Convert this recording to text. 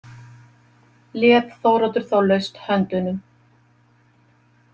Lét Þóroddur þá laust höndunum.